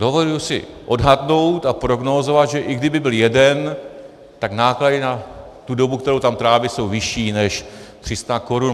Dovoluji si odhadnout a prognózovat, že i kdyby byl jeden, tak náklady na tu dobu, kterou tam tráví, jsou vyšší než 300 korun.